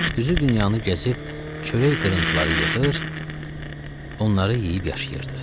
Düzü dünyanı gəzib, çörək qırıntıları yığır, onları yeyib yaşayırdı.